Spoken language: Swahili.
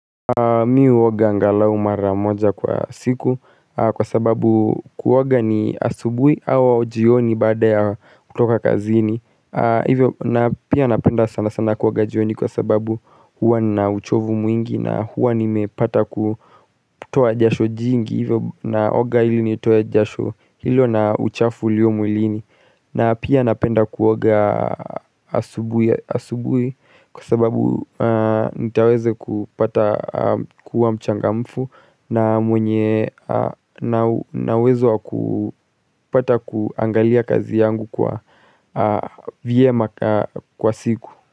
Mi uoga angalau maramoja kwa siku kwa sababu kuoga ni asubui awa ujioni bada ya kutoka kazini Hivyo na pia napenda sana sana kuoga jioni kwa sababu huwa na uchovu mwingi na huwa ni mepata kutoa jasho jingi Hivyo naoga hili ni toa jasho hilo na uchafu ulio mulini na pia napenda kuoga asubui kwa sababu nitaweze kupata kuwa mchanga mfu na mwenye nawezo kupata kuangalia kazi yangu kwa vyema kwa siku.